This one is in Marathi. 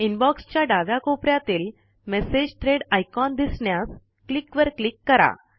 इनबॉक्स च्या डाव्या कोपऱ्यातील मेसेज थ्रेड आयकॉन दिसण्यास क्लिक वर क्लिक करा